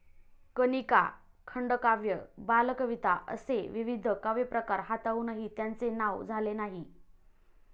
कनिका, खंडकाव्य बालकविता असे विविध काव्यप्रकार हाताळुनही त्यांचे नाव झाले नाही.